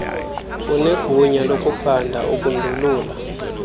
unegunya lokuphanda ukundulula